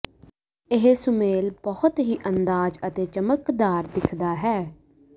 ਇਹ ਸੁਮੇਲ ਬਹੁਤ ਹੀ ਅੰਦਾਜ਼ ਅਤੇ ਚਮਕਦਾਰ ਦਿਖਦਾ ਹੈ